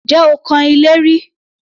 Ǹjẹ́ o kan ilé rí?